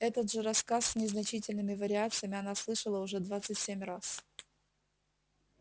этот же рассказ с незначительными вариациями она слышала уже двадцать семь раз